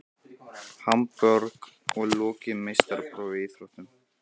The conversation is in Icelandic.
Hamborg og lokið meistaraprófi í íþróttinni.